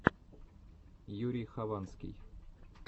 юрий хованский